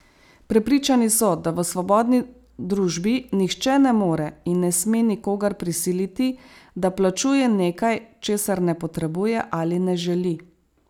Prepričani so, da v svobodni družbi nihče ne more in ne sme nikogar prisiliti, da plačuje nekaj, česar ne potrebuje ali ne želi.